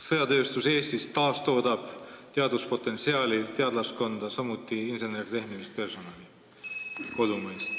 Sõjatööstus Eestis taastoodab teaduspotentsiaali, teadlaskonda, samuti kodumaist insener-tehnilist personali.